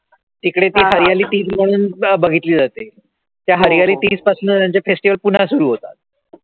तिकडे ती म्हणून बघितली जाते. तर हरिहर तीस पासन त्यांचे festival पुन्हा सुरु होतात